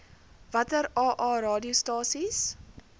watter aa radiostasies